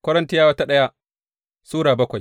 daya Korintiyawa Sura bakwai